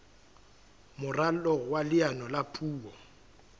moralo wa leano la puo